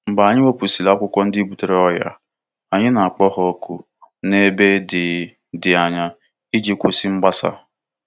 Mgbe anyị wepụsịrị akwụkwọ ndị butere ọrịa, anyị na-akpọ ha ọkụ n'ebe dị dị anya iji kwụsị ịgbasa.